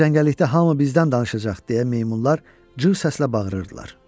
İndi cəngəllikdə hamı bizdən danışacaq, deyə meymunlar cır səslə bağırırdılar.